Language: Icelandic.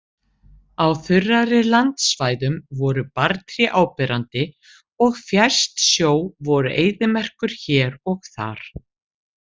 Á þurrari landsvæðum voru barrtré áberandi og fjærst sjó voru eyðimerkur hér og þar.